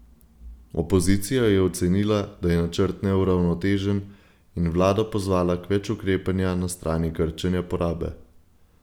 Opozicija je ocenila, da je načrt neuravnotežen, in vlado pozvala k več ukrepanja na strani krčenja porabe.